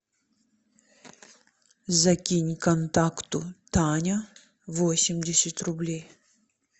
закинь контакту таня восемьдесят рублей